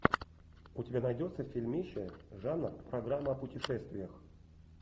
у тебя найдется фильмище жанр программа о путешествиях